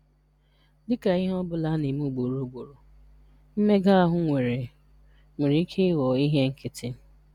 Dị ka ihe ọ bụla a na-eme ugboro ugboro, mmega ahụ nwere nwere ike ịghọ ihe nkịtị.